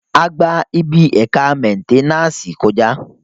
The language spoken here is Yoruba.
A gba ibi ẹ̀ka mẹ́nténàsì kọ̀já